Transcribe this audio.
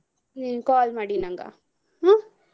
ನೀವ್ call ಮಾಡಿ ನಂಗ ಹ್ಮ್.